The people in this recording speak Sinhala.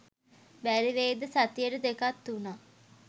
බැරිවෙයිද සතියට දෙකක් තුනක්